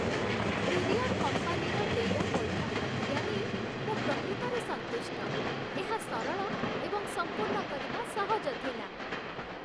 Courier କମ୍ପାନୀର ଦେୟ ପଇଠ ପ୍ରକ୍ରିୟା ନେଇ ମୁଁ ପ୍ରକୃତରେ ସନ୍ତୁଷ୍ଟ। ଏହା ସରଳ ଏବଂ ସମ୍ପୂର୍ଣ୍ଣ କରିବା ସହଜ ଥିଲା।